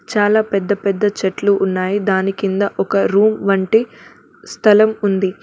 చాలా పెద్ద పెద్ద చెట్లు ఉన్నాయి దాని కింద ఒక రూమ్ వంటి స్థలం ఉంది.